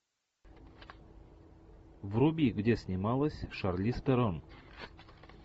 вруби где снималась шарлиз терон